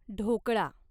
dhokla